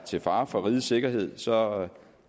til fare for rigets sikkerhed så